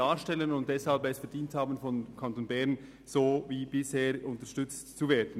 Deshalb haben sie es verdient, vom Kanton Bern wie bisher unterstützt zu werden.